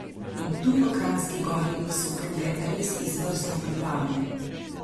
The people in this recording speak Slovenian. In tu v Kranjski Gori so proge res izvrstno pripravljene.